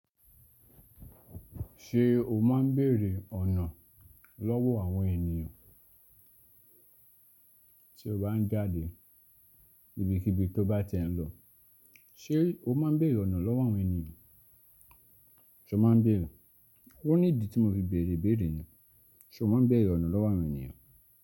Ṣé o máa ń bèrè ọ̀nà lọ́wọ́ àwọn ènìyàn tí o bá ń jáde ibikibi tó bá ti ẹ̀ ń lọ? Ṣé o má ń bèrè ọ̀nà lọ́wọ́ àwọn ènìyàn? Ṣé o má ń bèrè? Ó ní ìdí tí mo fi bèrè ìbéèrè yẹn. Ṣé o má ń bèrè ọ̀nà lọ́wọ́ àwọn ènìyàn?